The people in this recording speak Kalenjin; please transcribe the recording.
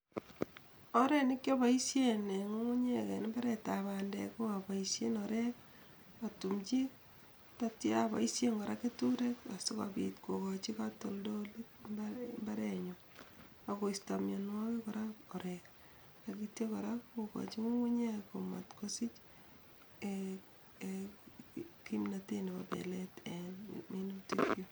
Oret nikiapoishen en ngungunyek en imbaretab bandek ko apaishen orek atumchin tetyo apaishen kora keturek asikopit kokochi katoldolik imbarenyu akoisto mianwokik kora korik akityo kora kokoch ngungunyek komatkosich en kimnatet nebo pelet en minutikyu.